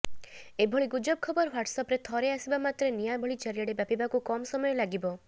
ଏଭଳି ଗୁଜବ ଖବର ହ୍ୱାଟସଆପରେ ଥରେ ଆସିବା ମାତ୍ରେ ନିଆଁ ଭଳି ଚାରିଆଡେ ବ୍ୟାପିବାକୁ କମ୍ ସମୟ ଲାଗିବ